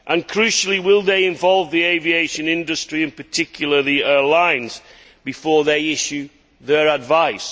Crucially, will they involve the aviation industry and, particularly, airlines before they issue their advice?